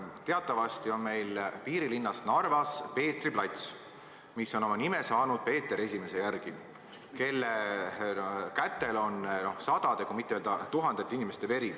Teatavasti meie piirilinnas Narvas on Peetri plats, mis on oma nime saanud Peeter I järgi, kelle kätel on sadade, kui mitte öelda tuhandete inimeste veri.